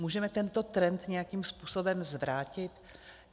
Můžeme tento trend nějakým způsobem zvrátit?